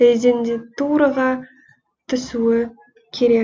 резидентураға түсуі керек